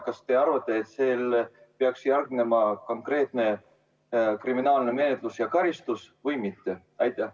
Kas teie arvates peaks sellele järgnema konkreetne kriminaalmenetlus ja karistus või mitte?